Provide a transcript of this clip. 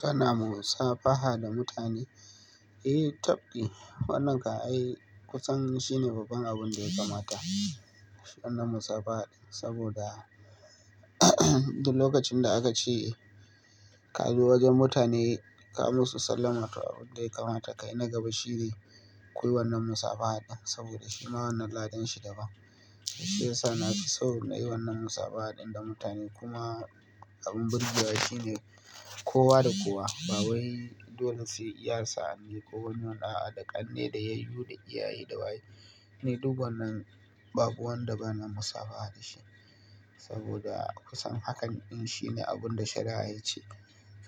Kana musafaha da mutane, eh tafki wannan kam ai kusan shine babban abin da ya kamata wannan musafaha saboda duk lokacin da aka ce ka je wajen mutane ka musu sallama toh abun da ya kamata ka yi na gaba shine kuyi wannan musafaha din saboda shi ma wannan ladan shi da ba. Shi ya sa na fi son nayi wannan musafaha ɗin da mutane kuma abin birgewa shine kowa da kowa, bawai dole sai iya sa'anni ko wani a'a da ƙanne da yayyu da iyaye da waye. Ni duk wannan babu wanda ba na musafaha da shi saboda kusan hakan din shine abun da shari'a ya ce.